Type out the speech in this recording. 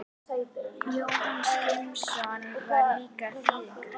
Jónas Hallgrímsson var líka þýðandi.